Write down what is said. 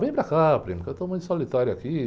Vem para cá, primo, que eu estou muito solitário aqui.